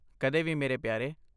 ਕਦੇ ਵੀ ਮੇਰੇ ਪਿਆਰੇ।